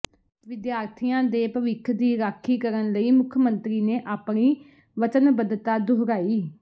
੍ਹ ਵਿਦਿਆਰਥੀਆਂ ਦੇ ਭਵਿੱਖ ਦੀ ਰਾਖੀ ਕਰਨ ਲਈ ਮੁੱਖ ਮੰਤਰੀ ਨੇ ਆਪਣੀ ਵਚਣਬੱਧਤਾ ਦੁਹਰਾਈ